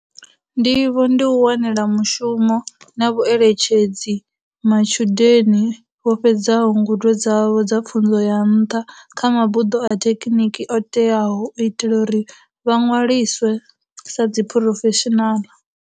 Ndivho ndi u wanela mushumo na vhueletshedzi matshudeni vho fhedzaho ngudo dzavho dza pfunzo ya nṱha kha mabuḓo a thekiniki o teaho u itela uri vha ṅwaliswe sa dziphurofeshinala.